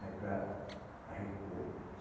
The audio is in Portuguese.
Aí para a recua.